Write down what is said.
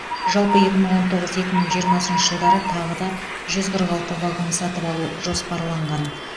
жалпы екі мың он тоғыз екі мың жиырмасыншы жылдары тағы да жүз қырық алты вагон сатып алу жоспарланған